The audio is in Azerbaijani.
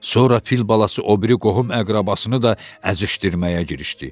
Sonra fil balası o biri qohum-əqrəbasını da əzişdirməyə girişdi.